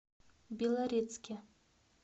белорецке